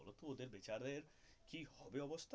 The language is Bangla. বলতো ওদের বিচারের কি হবে অবস্থা.